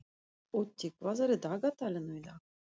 Otti, hvað er í dagatalinu í dag?